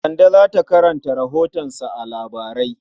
Kande za ta karanta rahotonsa a labarai.